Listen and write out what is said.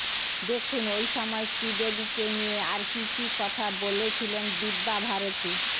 দেখুন ওই সময় শ্রীদেবীকে নিয়ে আর কী কী কথা বলেছিলেন দিব্যা ভারতী